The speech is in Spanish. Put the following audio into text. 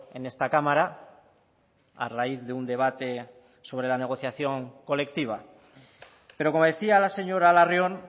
en esta cámara a raíz de un debate sobre la negociación colectiva pero como decía la señora larrion